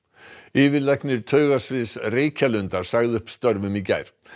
yfirlæknir Reykjalundar sagði upp störfum í gær